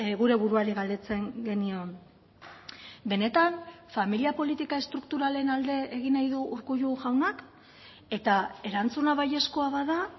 gure buruari galdetzen genion benetan familia politika estrukturalen alde egin nahi du urkullu jaunak eta erantzuna baiezkoa bada